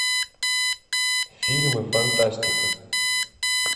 фильмы фантастика